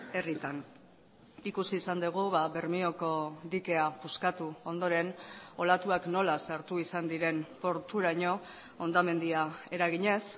herritan ikusi izan dugu bermeoko dikea puskatu ondoren olatuak nola sartu izan diren porturaino hondamendia eraginez